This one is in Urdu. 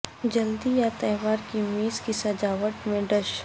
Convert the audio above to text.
جلدی یا تہوار کی میز کی سجاوٹ میں ڈش